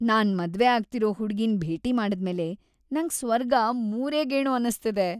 ನಾನ್ ಮದ್ವೆ ಆಗ್ತಿರೋ ಹುಡ್ಗಿನ್ ಭೇಟಿ ಮಾಡಾದ್ಮೇಲೆ ನಂಗ್‌ ಸ್ವರ್ಗ ಮೂರೇ ಗೇಣು ಅನ್ನಿಸ್ತಿದೆ.